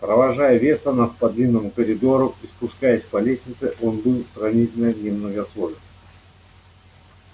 провожая вестонов по длинному коридору и спускаясь по лестнице он был сравнительно немногословен